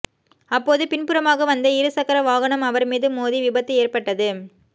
அப்போது பின்புறமாக வந்த இரு சக்கர வாகனம் அவா் மீது மோதி விபத்து ஏற்பட்டது